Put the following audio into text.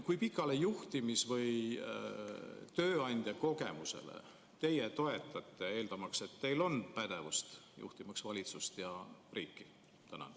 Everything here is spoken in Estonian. Kui pikale juhtimis- või tööandja kogemusele te toetute, eeldamaks, et teil on pädevust juhtida valitsust ja riiki?